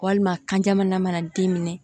Walima kan jamana mana den minɛ